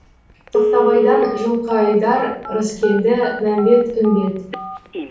тоқтабайдан жылқыайдар рыскелді мәмбет үмбет